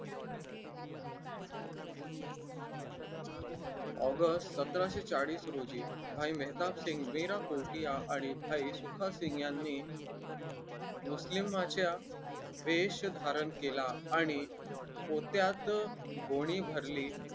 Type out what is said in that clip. August सतराशे चाळीस रोजी भाई मेहताब सिंग मीरा कोठीया आणि भाई सुखासिंग यांनी मुस्लिमांच्या वेश धारण केला आणि पोत्यात गोणी भरली.